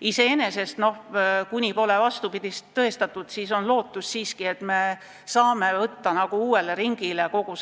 Aga iseenesest, kuni pole vastupidist tõestatud, on siiski lootust, et me saame kogu